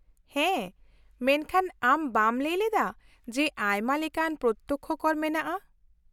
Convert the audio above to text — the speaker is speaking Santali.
-ᱦᱮᱸ, ᱢᱮᱱᱠᱷᱟᱱ ᱟᱢ ᱵᱟᱢ ᱞᱟᱹᱭ ᱞᱮᱫᱟ, ᱡᱮ ᱟᱭᱢᱟ ᱞᱮᱠᱟᱱ ᱯᱨᱚᱛᱛᱚᱠᱽᱠᱷᱚ ᱠᱚᱨ ᱢᱮᱱᱟᱜᱼᱟ ?